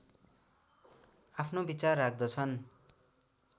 आफ्नो विचार राख्दछन्